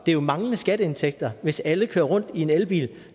er jo manglende skatteindtægter hvis alle kører rundt i en elbil